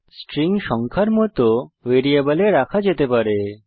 string সংখ্যার মত ভ্যারিয়েবলে রাখা যেতে পারে